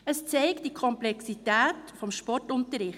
Dies zeigt die Komplexität des Sportunterrichts.